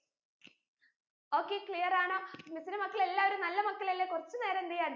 okay clear ആണോ miss ന്റെ മക്കൾ എല്ലാരു നല്ല മകളല്ലേ കുറച്ച് നേരം എന്തെയ്യാ